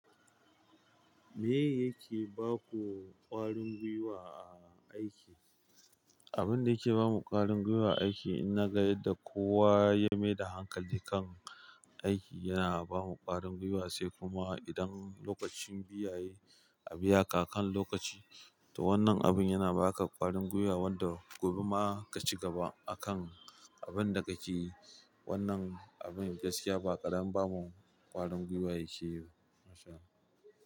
Me yake baku ƙwarin gwiwa a aiki? Abin da yake bamu ƙwarin gwiwa a aiki, in na ga yadda kowa ya maida hankali kan aiki, yana bamu ƙwarin gwiwa, sai kuma idan lokacin biya yayi a biya ka akan lokaci, to wannan abin yana baka ƙwarin gwiwa, wanda gobe ma ka cigaba akan abin da kake yi. Wannan abin gaskiya ba ƙaramin ba mu ƙwarin gwiwa yake yi ba. Masha Allah.